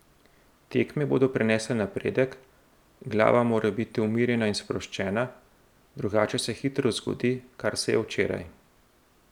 Tekme bodo prinesle napredek, glava mora biti umirjena in sproščena, drugače se hitro zgodi, kar se je včeraj.